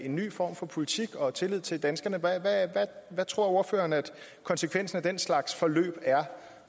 en ny form for politik og tillid til danskerne så hvad tror ordføreren konsekvensen af den slags forløb er